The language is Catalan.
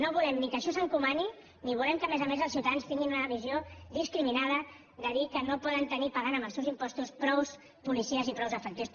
no volem ni que això s’encomani ni volem que a més a més els ciutadans tinguin una visió discriminada de dir que no poden tenir pagant amb els seus impostos prou policies i prou efectius